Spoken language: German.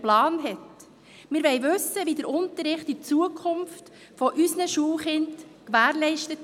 Ich bin ganz der Meinung von Roland Näf.